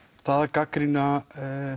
gagnrýna